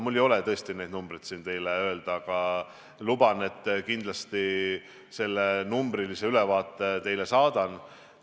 Mul ei ole tõesti siin praegu teile arve öelda, aga luban, et kindlasti selle numbrilise ülevaate teile saadan.